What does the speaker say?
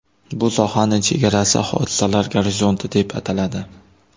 Bu sohaning chegarasi hodisalar gorizonti deb ataladi.